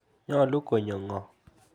Nyalu konyo ng'o?